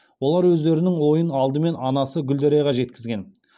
олар өздерінің ойын алдымен анасы гүлдерайға жеткізген